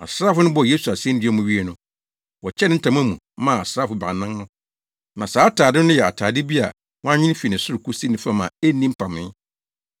Asraafo no bɔɔ Yesu asennua mu wiei no, wɔkyɛɛ ne ntade mu maa asraafo baanan no. Na saa atade no yɛ atade bi a wɔanwen fi ne soro kosi ne fam a enni mpamee.